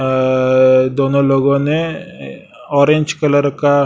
अ दोनों लोगों ने ऑरेंज कलर का--